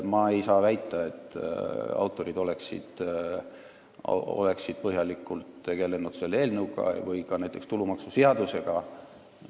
Ma ei saa väita, et autorid oleksid põhjalikult tegelenud selle eelnõuga või ka näiteks tulumaksuseadusega.